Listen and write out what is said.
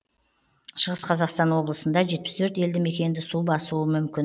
шығыс қазақстан облысында жетпіс төрт елді мекенді су басуы мүмкін